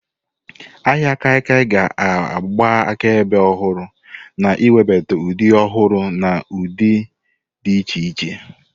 Ahịa kaikia ga-agba akaebe ọhụrụ, na-ewebata ụdị ọhụrụ na ụdị dị iche iche.